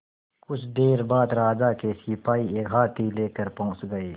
कुछ देर बाद राजा के सिपाही एक हाथी लेकर पहुंच गए